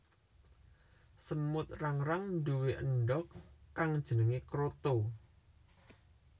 Semut rangrang nduwe endhog kang jenengé kroto